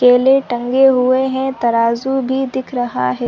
केले टंगे हुए है तराजू भी दिख रहा हैं।